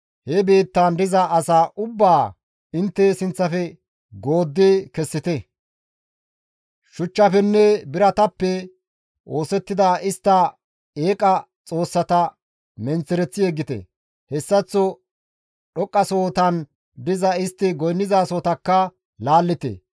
he biittaan diza asaa ubbaa intte sinththafe gooddi kessite; shuchchafenne biratappe oosettida istta eeqa xoossata menththereththi yeggite; hessaththoka dhoqqasohotan diza istti goynnizasotakka laallite.